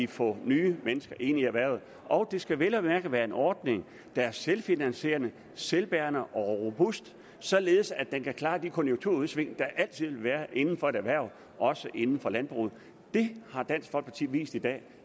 få nye mennesker ind i erhvervet og det skal vel at mærke være med en ordning der er selvfinansierende selvbærende og robust således at den kan klare de konjunkturudsving der altid vil være inden for et erhverv også inden for landbruget det har dansk folkeparti vist i dag